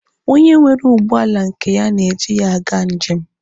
Onye nwere ụgbọala nke ya na-eji ya aga njem.